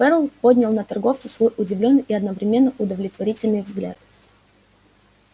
ферл поднял на торговца свой удивлённый и одновременно удовлетворительный взгляд